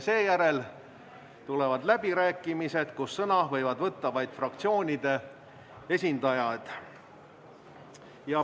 Seejärel tulevad läbirääkimised, kus sõna võivad võtta vaid fraktsioonide esindajad.